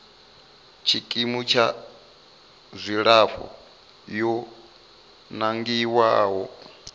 tshikimu tsha dzilafho yo nangiwaho